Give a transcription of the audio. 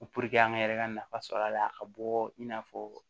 an yɛrɛ ka nafa sɔrɔ a la ka bɔ i n'a fɔ